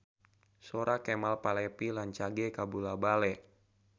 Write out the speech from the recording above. Sora Kemal Palevi rancage kabula-bale